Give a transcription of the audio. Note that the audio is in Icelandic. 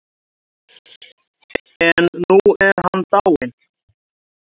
En nú er hann dáinn.